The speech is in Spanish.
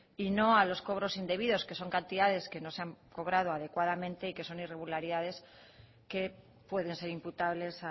y no a los cobros indebidos que son cantidades que no se han cobrado adecuadamente y que son irregularidades que pueden ser imputables